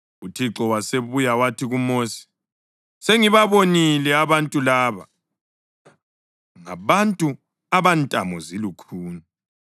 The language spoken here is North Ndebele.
UThixo wasebuya wathi kuMosi, “Sengibabonile abantu laba; ngabantu abantamo zilukhuni.